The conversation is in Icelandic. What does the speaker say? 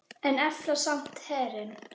En efla samt herinn.